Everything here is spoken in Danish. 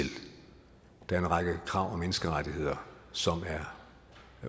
der er en række krav om menneskerettigheder som er